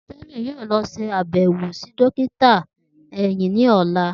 Temi yoo lọ ṣe abẹwo si dokita ehin ni ọla.